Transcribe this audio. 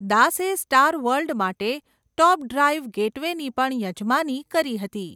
દાસે star world માટે top drive ગેટવેની પણ યજમાની કરી હતી.